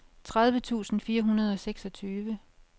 tredive tusind fire hundrede og seksogtyve